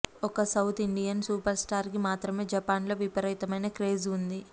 ఒక్క south Indian super star కి మాత్రమే జపాన్ లో విపరీతమైన క్రేజ్ ఉంది